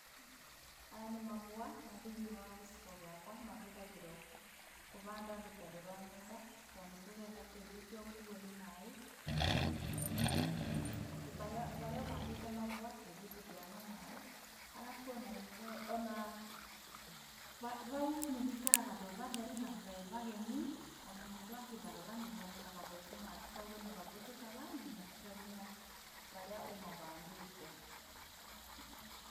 Aya nĩ mavũa, na thĩiniĩ wa gĩcigo gĩakwa mahũthagĩrwo kũvanda rũtere rwa nyũmba, tondũ ndũrenda tĩĩrĩ ũcio ũkuwo nĩ maaĩ. Harĩa ũvandĩte mavua tĩĩri ndũthiyaga nĩ maaĩ. Arabu o na environment, o na vau nĩ vaikaraga veva theru na vevagemu, o na mũndũ akĩvarora nĩvonekaga ve- smart, kogwo nĩ vavũthĩkaga nginya kũgemia harĩa ũmavandĩte.